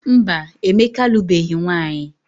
Mba, Emeka alụbeghị nwaanyị.